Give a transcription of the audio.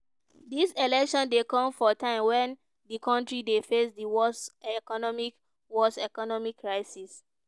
dis election dey come for time wen di kontri dey face dia worst economic worst economic crisis.